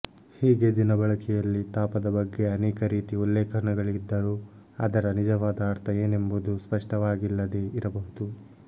ಹೀಗೆ ದಿನಬಳಕೆಯಲ್ಲಿ ತಾಪದ ಬಗ್ಗೆ ಅನೇಕ ರೀತಿ ಉಲ್ಲೇಖನಗಳಿದ್ದರೂ ಅದರ ನಿಜವಾದ ಅರ್ಥ ಏನೆಂಬುದು ಸ್ಪಷ್ಟವಾಗಿಲ್ಲದೇ ಇರಬಹುದು